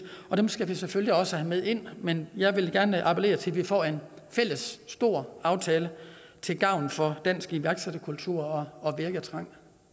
og dem skal vi selvfølgelig også have med ind men jeg vil gerne appellere til at vi får en fælles stor aftale til gavn for dansk iværksætterkultur og virketrang